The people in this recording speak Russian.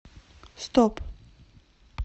стоп